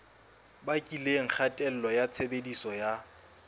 bakileng kgatello ya tshebediso ya